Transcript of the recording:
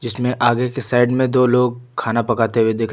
इसमें आगे के साइड में दो लोग खाना पकाते हुए दिख रहे--